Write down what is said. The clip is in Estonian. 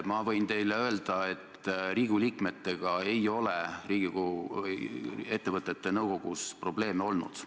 Ma võin teile öelda, et Riigikogu liikmetega ei ole ettevõtete nõukogudes probleeme olnud.